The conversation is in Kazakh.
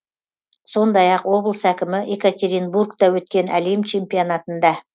сондай ақ облыс әкімі екатеринбургте өткен әлем чемпионатында